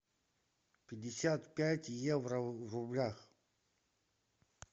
пятьдесят пять евро в рублях